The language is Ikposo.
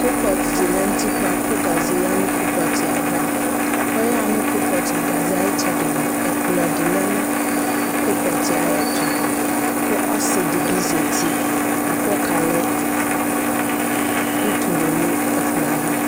koalpɔt di lɛ nʋ ʋtikpa kʋ gazɛ ya nu koalpɔt aɣa kʋ ɔya nu koalpɔt nu gazɛ itsɛdi mʋa ɛkpʋlo di lɛnʋ koalpɔt ayɛtʋ ku ɔsi di bi zɛti bʋa kʋ ɔka lɛ ʋtulɛ nʋ ɛkpulɔ aɣa